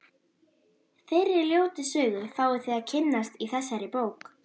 Þeirri ljótu sögu fáið þið að kynnast í þessari bók.